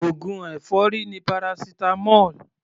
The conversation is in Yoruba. Oògùn èfọ́rí ni paracetamol.